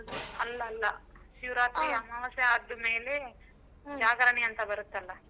ಅಲ್ಲಲ್ಲಾ ಶಿವರಾತ್ರಿ ಅಮವಾಸ್ಯೆ ಆದ ಮೇಲೆ ಅಂತ ಬರತ್ತಲ್ಲ.